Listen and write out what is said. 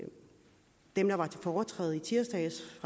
dem der var i foretræde i tirsdags